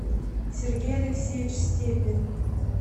сергей алексеевич степин